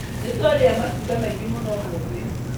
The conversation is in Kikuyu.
Nĩtwarĩa matunda maingĩ mũno ũmũthĩ